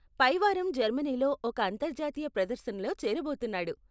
పైవారం జర్మనీలో ఒక అంతర్జాతీయ ప్రదర్శనలో చేరబోతున్న్నాడు.